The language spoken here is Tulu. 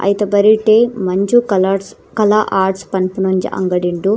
ಐತ ಬರಿಟ್ ಮಂಜು ಕಲರ್ಟ್ಸ್ ಕಲಾ ಆರ್ಟ್ಸ್ ಪನ್ಪಿನ ಒಂಜಿ ಅಂಗಡಿ ಉಂಡು.